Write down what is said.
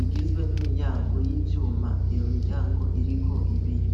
igizwe n'imiryango y'ivyuma iyo miryango iriko ibiyo.